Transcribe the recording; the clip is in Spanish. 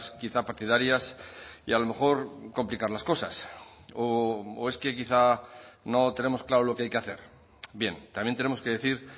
quizá partidarias y a lo mejor complicar las cosas o es que quizá no tenemos claro lo que hay que hacer bien también tenemos que decir